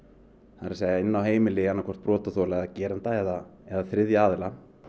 það er að segja inni á heimili brotaþola geranda eða eða þriðja aðila